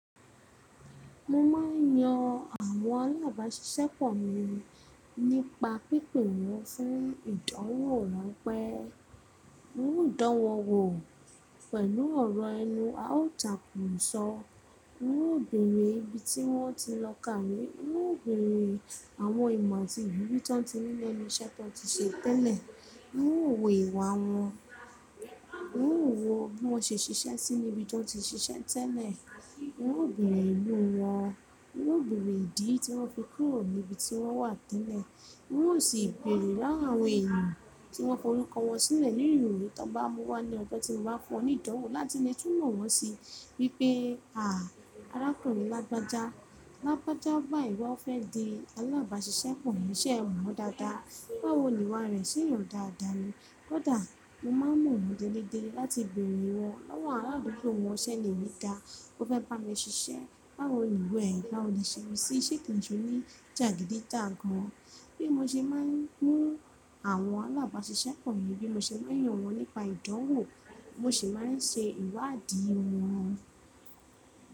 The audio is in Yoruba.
Mo ma n yan àwọn alábàáṣiṣẹ́pọ̀ mi nípa pípe wọ́n fún ìdánwò ránpẹ́. N óò dánwò wọ pẹ̀lú ọ̀rọ̀ ẹnu, a ó tàkùrọ̀sọ, n óò béèrè ibi tí wọ́n ti lọ kàwé, n óò béèrè àwọn ìmọ̀ àti ìwúrí tí wọ́n ti nílọ̀ ní iṣẹ́ tí wọ́n ti ṣe tẹ́lẹ̀, n óò wo ìwà wọn, n óò wo bí wọ́n ṣe ṣiṣẹ́ síi níbi tí wọ́n ti ṣiṣẹ́ tẹ́lẹ̀, n óò béèrè ìlú wọn, n óò béèrè ìdí tí wọ́n fi kúrò ní ibi tí wọ́n wà tẹ́lẹ̀, n óò sì béèrè láàrín àwọn èèyàn tí wọ́n kọ orúkọ wọn sílẹ̀ nínú ìròyìn tó bá mú wá ní ọjọ́ tí mo bá fún onídánwò láti lè túnmọ̀ wọ́n sí bí pé, àá rákurín lágbájá, lágbájá bá ìwà ó fẹ́ di alábàáṣiṣẹ́pọ̀ mí ṣẹ́ ẹ̀ mọ́ dáadáa, báwo ni ìwà rẹ̀ ṣe yàn dáadáa ni. Kódà mo máa ń mọ̀ wọ́n déédéé láti béèrè wọ́n lọ́wọ́ àwọn àdúgbò wọn ṣẹ́lẹ̀ nígbà kò fẹ́ bá mi ṣiṣẹ́, báwo ni ìwà ẹ̀, báwo ni ṣe ń ṣiṣẹ́ kì í ṣe ní jàgídíjàgan. Bí mo ṣe máa ń mú àwọn alábàáṣiṣẹ́pọ̀ mi, bí mo ṣe máa ń yan wọ́n nípa ìdánwò, mo sì máa ń ṣe ìwádìí wọn.